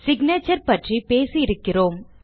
signature பற்றி பேசியிருக்கிறோம்